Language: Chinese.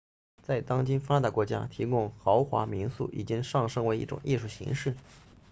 在当今发达国家提供豪华民宿已经上升为一种艺术形式